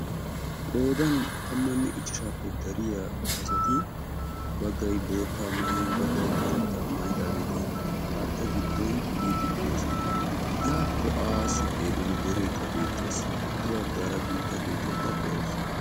Qoodan tammanne ichchashaappe dariyaa asati baggay boottaa maayin baggay karettaa maayidageeti haatta giddon biiddi de"oosona. Yaakko aassi xeelliyoode dereekka beettes. Ha bagaara guutta keettiyaakka de"awus.